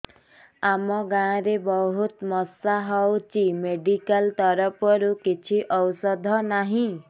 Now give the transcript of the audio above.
ଆମ ଗାଁ ରେ ବହୁତ ମଶା ହଉଚି ମେଡିକାଲ ତରଫରୁ କିଛି ଔଷଧ ନାହିଁ